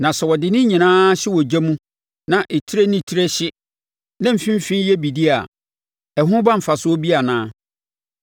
Na sɛ wɔde ne nyina hyɛ ogya mu na etire ne etire hye ma mfimfini yɛ bidie a, ɛho ba mfasoɔ bi anaa?